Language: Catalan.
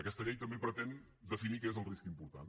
aquesta llei també pretén definir què és el risc important